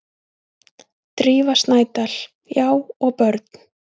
Drífa Snædal: Já og börn.